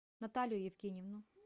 наталию евгеньевну